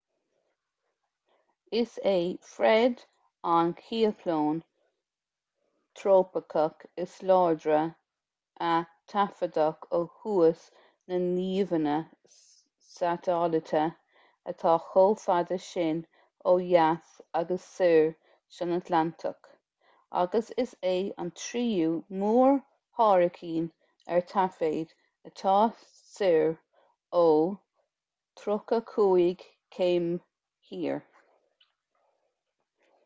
is é fred an cioclón trópaiceach is láidre a taifeadadh ó thús na n-íomhánna satailíte atá chomh fada sin ó dheas agus soir san atlantach agus is é an tríú mór-hairicín ar taifead atá soir ó 35°w